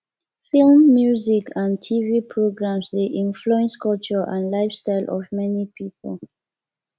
films music and tv programs dey influence culture and lifestyle of many people